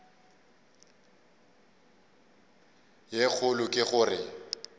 ye kgolo ke go re